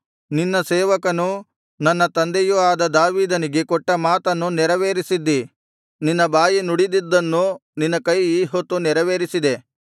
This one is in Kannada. ನಿನ್ನ ಸೇವಕನೂ ನನ್ನ ತಂದೆಯೂ ಆದ ದಾವೀದನಿಗೆ ಕೊಟ್ಟ ಮಾತನ್ನು ನೆರವೇರಿಸಿದ್ದೀ ನಿನ್ನ ಬಾಯಿ ನುಡಿದದ್ದನ್ನು ನಿನ್ನ ಕೈ ಈಹೊತ್ತು ನೆರವೇರಿಸಿದೆ